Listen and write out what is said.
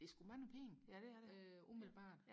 det er sku mange penge øh umiddelbart